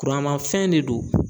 Kuranmafɛn ne do.